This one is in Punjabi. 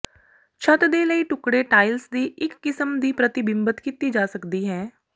ਛੱਤ ਦੇ ਲਈ ਟੁਕੜੇ ਟਾਇਲਸ ਦੀ ਇੱਕ ਕਿਸਮ ਦੀ ਪ੍ਰਤਿਬਿੰਬਤ ਕੀਤੀ ਜਾ ਸਕਦੀ ਹੈ